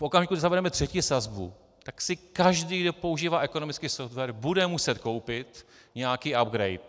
V okamžiku, kdy zavedeme třetí sazbu, tak si každý, kdo používá ekonomický software, bude muset koupit nějaký upgrade.